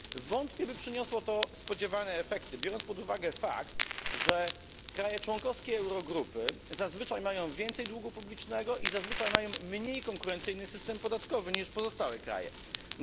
Wątpię, by przyniosło to spodziewane efekty, biorąc pod uwagę fakt, że państwa członkowskie Eurogrupy zazwyczaj mają więcej długu publicznego i zazwyczaj mają mniej konkurencyjny system podatkowy niż pozostałe państwa.